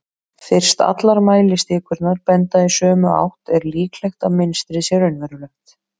fyrst allar mælistikurnar benda í sömu átt er líklegt að mynstrið sé raunverulegt